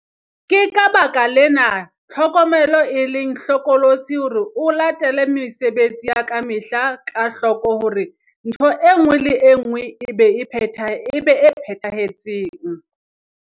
Ke ka baka lena, tlhokomelo e leng hlokolosi hore o latele mesebetsi ya ka mehla ka hloko hore ntho e nngwe le e nngwe e be e phethahetseng.